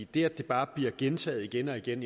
det at det bare bliver gentaget igen og igen